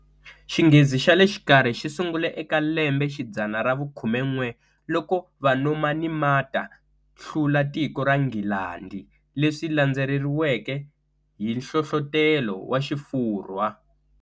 Xinghezi xale xikarhi xisungule eka lembexidzana ravu khumen'we, loko Vanomanimata hlula tiko ra Nghilandi, leswi swilandzeriweke hi nhlohlotelo wa xifurhwa.